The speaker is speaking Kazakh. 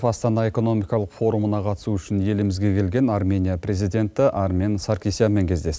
астана экономикалық форумына қатысу үшін елімізге келген арменияның президенті армен саркисянмен кездес